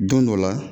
Don dɔ la